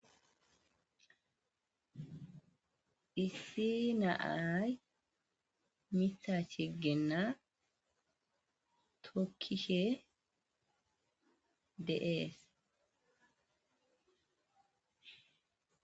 issi na'ay mitha shigenna tokkishe de'ees